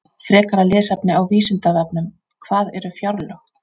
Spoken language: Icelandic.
Frekara lesefni á Vísindavefnum: Hvað eru fjárlög?